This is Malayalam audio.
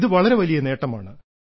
ഇത് വളരെ വലിയ നേട്ടമാണ്